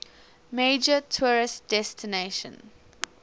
major tourist destination